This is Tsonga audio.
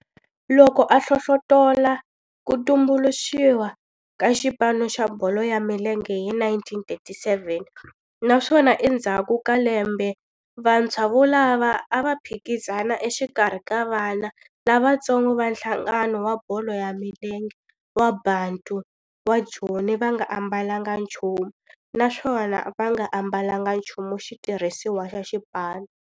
Loko a hlohlotela ku tumbuluxiwa ka xipano xa bolo ya milenge hi 1937 naswona endzhaku ka lembe vantshwa volavo a va phikizana exikarhi ka vana lavatsongo va nhlangano wa bolo ya milenge wa Bantu wa Joni va nga ambalanga nchumu naswona va nga ambalanga nchumu xitirhisiwa xa xipano.